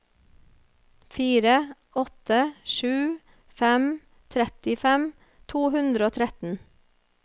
fire åtte sju fem trettifem to hundre og tretten